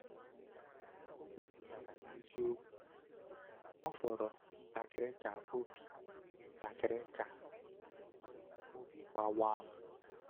Ọ kwupụtara n’eziokwu: “Ọ fọrọ ntakịrị ka obi ntakịrị ka obi gbawa m.”